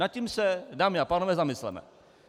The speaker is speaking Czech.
Nad tím se, dámy a pánové, zamysleme.